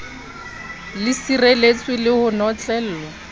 le sireletswe le ho notlellwa